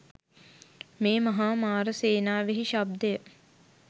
මේ මහා මාර සේනාවෙහි ශබ්දය